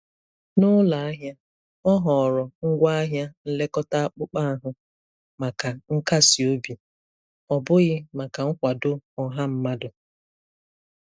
N'ụlọ ahịa, ọ họọrọ ngwaahịa nlekọta akpụkpọ ahụ maka nkasi obi, ọ bụghị maka nkwado ọha mmadụ.